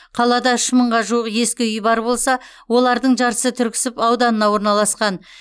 қалада үш мыңға жуық ескі үй бар болса олардың жартысы түрксіб ауданында орналасқан